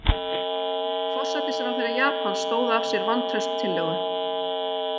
Forsætisráðherra Japans stóð af sér vantrauststillögu